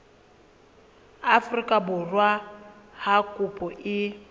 afrika borwa ha kopo e